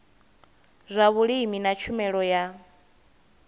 zwa vhulimi na tshumelo ya